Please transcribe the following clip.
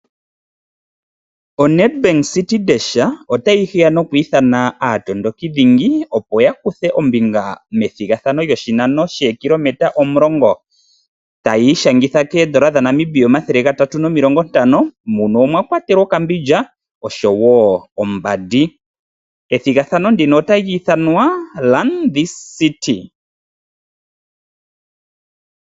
ONedbank CITI DASH otayi hiya noku ithana aatondokidhingi opo ya kuthe ombinga methigathano lyoshinano shookilometa omulongo. Otayi shangitha N$350 , muno omwakwatelwa okambindja oshowoo ombandi. Ethigathano ndika ota li ithanwa Run this city.